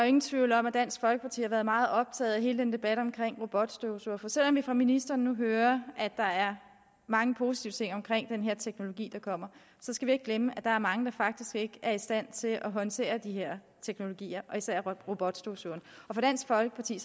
ingen tvivl om at dansk folkeparti har været meget optaget af hele den debat om robotstøvsugere for selv om vi fra ministeren nu hører at der er mange positive ting omkring den her teknologi der kommer skal vi ikke glemme at der er mange der faktisk ikke er i stand til at håndtere de her teknologier især robotstøvsugeren for dansk folkeparti